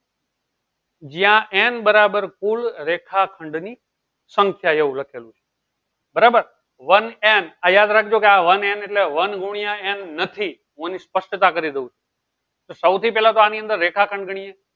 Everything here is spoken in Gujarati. જ્યાં n બરાબર કુલ રેખા ખંડ ની સંખ્યા એવું લખેલું બરાબર વન n આ યાદ રાખજો વન n એટલે વન ગુણ્યા n નથી હું એની સ્પષ્ટા જરી દઉં છું સૌ થી પેહલા તો આની અંદર રેખા ખંડ ગણીએ